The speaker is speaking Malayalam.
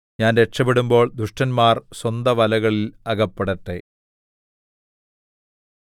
ഞാൻ രക്ഷപെടുമ്പോൾ ദുഷ്ടന്മാർ സ്വന്തവലകളിൽ അകപ്പെടട്ടെ